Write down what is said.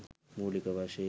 මූළික වශයෙන්